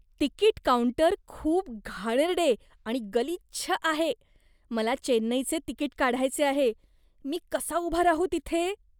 Ticket counter खूप घाणेरडे आणि गलिच्छ आहे. मला चेन्नईचे तिकीट काढायचे आहे, मी कसा उभा राहू तिथे?